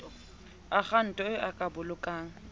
akhaonto eo o ka bolokang